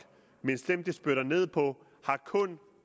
mens dem de spytter ned på kun